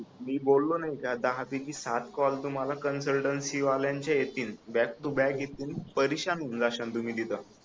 मी बोललो ना की दहा पैकी सात कॉल तुम्हाला कन्सल्टन्सी वाल्यांचे येतील बॅक टू बॅक येतील परेशान होऊन जाशाल तुम्ही तिथ